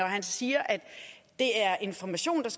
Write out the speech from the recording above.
han siger at det er information og